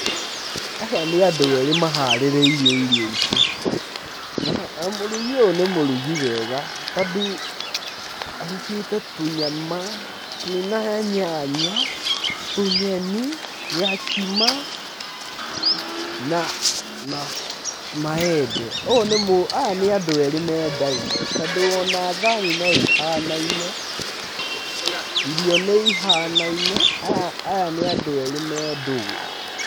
Haha nĩ andũ ere maharĩrĩirwo irio ici, na mũrugi ũyũ nĩ mũrugi wega, tondũ arugete tũnyama twĩna nyanya, tũnyeni, gakima, na maembe. Aya nĩ andũ erĩ mendai-inĩ tondu ona thahani no ihanai-inĩ, irio nĩ ihana-inĩ, Aya nĩ andũ erĩ me ndũgũ.